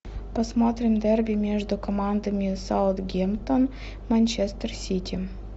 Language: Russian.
посмотрим дерби между командами саутгемптон манчестер сити